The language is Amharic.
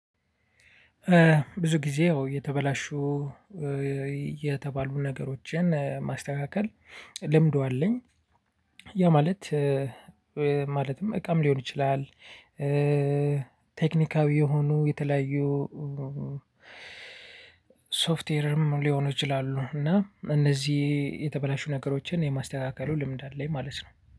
ብዙ ጊዜ ያው የተበላሹ የተባሉ ነገሮችን ማስተካከል ልምዱ አለኝ። ያ ማለት ማለትም እቃም ሊሆን ይችላል። ቴክኒካዊ የሆኑ የተለያዩ ሶፍትዌርም ሊሆኑ ይችላሉ። እና እነዚህ የተበላሹ ነገሮችን የማስተካከሉ ልምድ አለኝ ማለት ነው